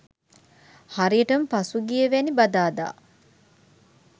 හරියටම පසුගියවැනි බදාදා